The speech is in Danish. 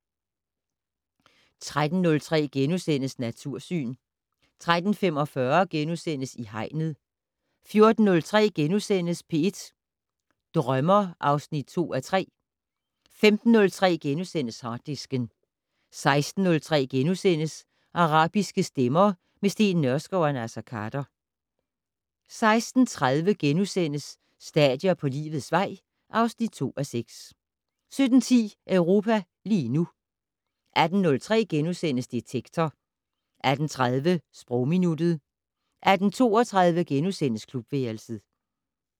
13:03: Natursyn * 13:45: I Hegnet * 14:03: P1 Drømmer (2:3)* 15:03: Harddisken * 16:03: Arabiske stemmer - med Steen Nørskov og Naser Khader * 16:30: Stadier på livets vej (2:6)* 17:10: Europa lige nu 18:03: Detektor * 18:30: Sprogminuttet 18:32: Klubværelset *